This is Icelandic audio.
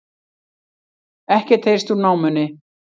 Ekkert heyrst úr námunni